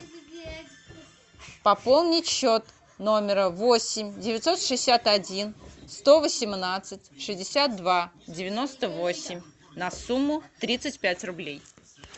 пополнить счет номера восемь девятьсот шестьдесят один сто восемнадцать шестьдесят два девяносто восемь на сумму тридцать пять рублей